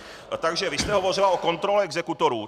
Takže vy jste hovořila o kontrole exekutorů.